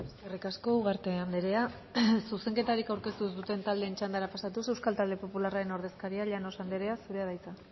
eskerrik asko ugarte andrea zuzenketarik aurkeztu ez duten taldeen txandara pasatuz euskal talde popularraren ordezkaria llanos andrea zurea da hitza